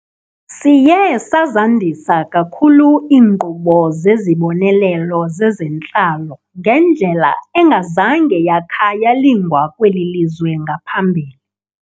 Siye sazandisa kakhulu iinkqubo zezibonelelo zezentlalo ngendlela engazange yakha yalingwa kweli lizwe ngaphambili.